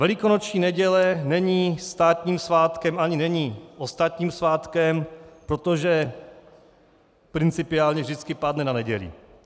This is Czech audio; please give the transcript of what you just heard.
Velikonoční neděle není státním svátkem ani není ostatním svátkem, protože principiálně vždycky padne na neděli.